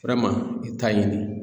i ta ɲini